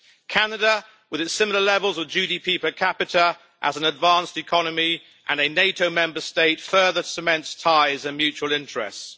Canada, with its similar levels of GDP per capita, as an advanced economy and a NATO Member State further cements ties and mutual interests.